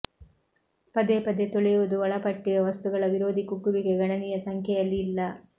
ಪದೇ ಪದೇ ತೊಳೆಯುವುದು ಒಳಪಟ್ಟಿವೆ ವಸ್ತುಗಳ ವಿರೋಧಿ ಕುಗ್ಗುವಿಕೆ ಗಣನೀಯ ಸಂಖ್ಯೆಯಲ್ಲಿ ಇಲ್ಲ